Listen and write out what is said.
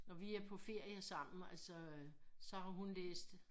Når vi er på ferie sammen altså øh så har hun læst